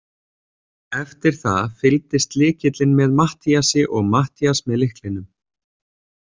Eftir það fylgdist lykillinn með Matthíasi og Matthías með lyklinum.